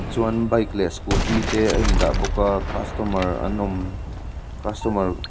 chuan bike leh scooty te a in dah bawk a customer an awm customer --